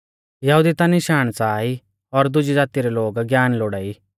यहुदी ता निशाण च़ाहा ई और दुजी ज़ाती रै लोग ज्ञान लोड़ाई